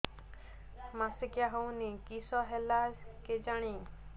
ମାସିକା ହଉନି କିଶ ହେଲା କେଜାଣି